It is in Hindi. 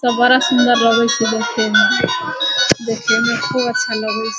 सब बड़ा सुन्दर लगे छे देखेमें देखेमें खूब अच्छा लगे --